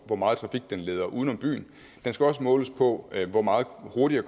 hvor meget trafik den leder uden om byen den skal også måles på hvor meget hurtigere